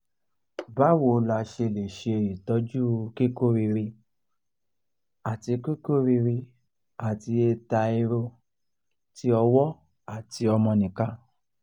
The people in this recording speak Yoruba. báwo la ṣe lè ṣe itoju kiku riri ati kiku riri ati eta ero tí ọwọ́ àti omonika